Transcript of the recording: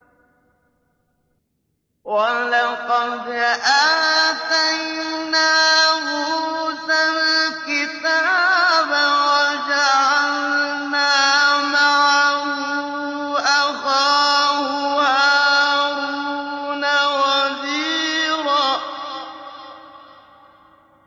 وَلَقَدْ آتَيْنَا مُوسَى الْكِتَابَ وَجَعَلْنَا مَعَهُ أَخَاهُ هَارُونَ وَزِيرًا